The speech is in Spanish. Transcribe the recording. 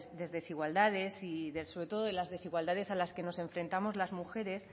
de desigualdades y sobre todo de las desigualdades a las que nos enfrentamos las mujeres